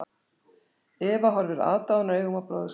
Eva horfir aðdáunaraugum á bróður sinn.